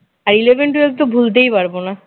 আর eleven twelve তো ভুলতেই পারবো না